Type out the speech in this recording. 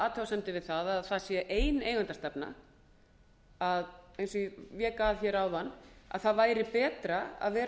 athugasemdir við það að það sé ein eigendastefna eins og ég vék að áðan að það væri betra að vera